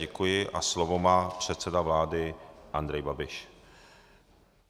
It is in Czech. Děkuji a slovo má předseda vlády Andrej Babiš.